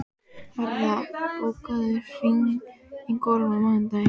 Varða, bókaðu hring í golf á mánudaginn.